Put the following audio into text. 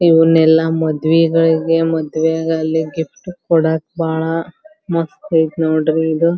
ಇವ್ನೆಲ್ಲ ಮದ್ವೇಗಳಿಗೆ ಮದ್ವೇಗಲ್ಲಿ ಗಿಫ್ಟ್ ಕೊಡಕ್ ಬಾಳ ಮಸ್ತ್ ಆಯ್ತ್ ನೋಡ್ರಿ ಇದು.